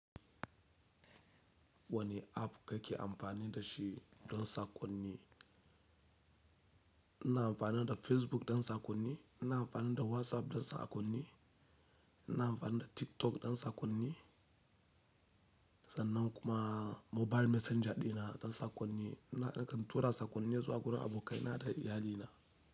Wane app kake amfani da shi don saƙonni. Ina amfana da Facebook don saƙonni, ina amfana da WhatsApp don saƙonni, ina amfana da TikTok don saƙonni, sannan kuma mobile messenger ɗina don saƙonni. Ina kan tura saƙonni zuwa gurin abokaina da iyalina.